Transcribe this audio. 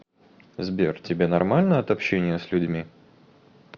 сбер тебе нормально от общения с людьми